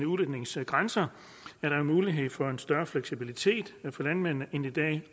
udledningsgrænserne er der en mulighed for en større fleksibilitet for landmændene end i dag